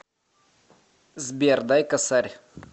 сбер дай косарь